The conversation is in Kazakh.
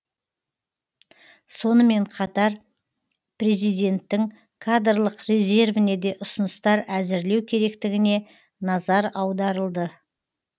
сонымен қатар президенттің кадрлық резервіне де ұсыныстар әзірлеу керектігіне назар аударылды